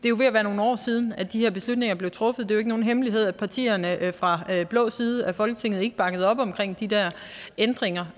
er ved at være nogle år siden at de her beslutninger blev truffet det er jo ikke nogen hemmelighed at partierne fra den blå side af folketinget ikke bakkede op omkring de der ændringer